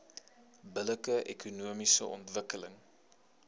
billike ekonomiese ontwikkeling